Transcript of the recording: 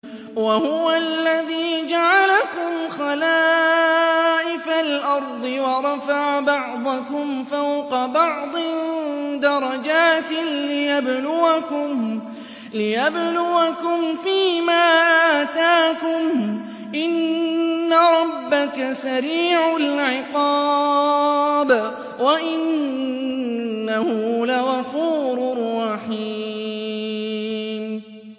وَهُوَ الَّذِي جَعَلَكُمْ خَلَائِفَ الْأَرْضِ وَرَفَعَ بَعْضَكُمْ فَوْقَ بَعْضٍ دَرَجَاتٍ لِّيَبْلُوَكُمْ فِي مَا آتَاكُمْ ۗ إِنَّ رَبَّكَ سَرِيعُ الْعِقَابِ وَإِنَّهُ لَغَفُورٌ رَّحِيمٌ